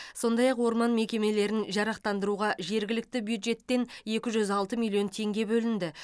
сондай ақ орман мекемелерін жаратқандыруға жергілікті бюджеттен екі жүз алты миллион теңге бөлінді